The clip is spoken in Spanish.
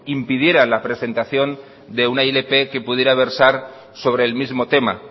impidiera la presentación de una ilp que pudiera versar sobre el mismo tema